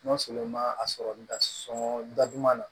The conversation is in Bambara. N'o sɔrɔ ma a sɔrɔli da sɔn da duman na